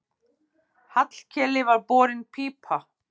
Hallkeli var borin pípa.